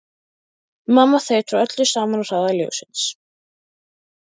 Mamma þaut frá öllu saman á hraða ljóssins.